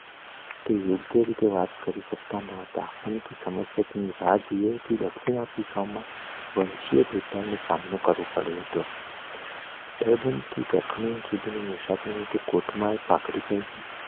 તે યોગ્ય રીતે વાત કરી સકતા નતા કેમકે દક્ષિણ આફ્રિકામાં સામનો કર્યું પડતું હતું મુસાફરી માં તે કોર્ટ માં